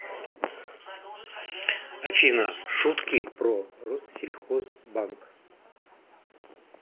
афина шутки про россельхозбанк